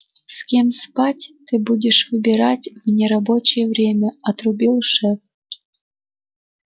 с кем спать ты будешь выбирать в нерабочее время отрубил шеф